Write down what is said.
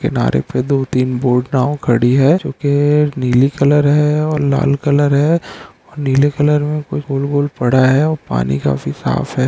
किनारे पर दो-तीन बोट नाव खड़ी है जो की नीली कलर है और लाल कलर है नीले कलर में कुछ गोल-गोल पड़ा है और पानी काफी साफ है।